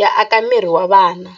ya aka miri wa vana.